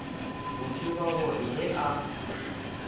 go tseba gore ge a